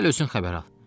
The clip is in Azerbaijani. Gəl özün xəbər al.